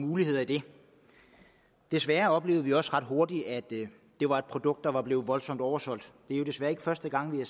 muligheder i det desværre oplevede vi også ret hurtigt at det var et produkt der var blevet voldsomt oversolgt det er desværre ikke første gang vi